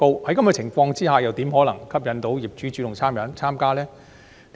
在這樣的情況之下，又怎可能吸引業主主動參加？